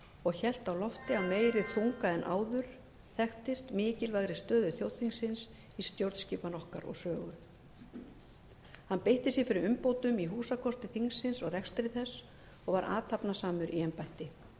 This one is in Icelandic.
og hélt á lofti af meiri þunga en áður þekktist mikilvægri stöðu þjóðþingsins í stjórnskipan okkar og sögu hann beitti sér fyrir umbótum í húsakosti þingsins og rekstri þess og var athafnasamur í